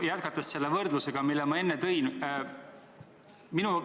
Ma jätkan selle võrdlusega, mille ma enne tõin.